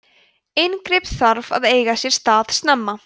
inngrip þarf að eiga sér stað snemma